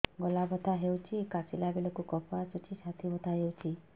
ଗଳା ବଥା ହେଊଛି କାଶିଲା ବେଳକୁ କଫ ଆସୁଛି ଛାତି ବଥା ହେଉଛି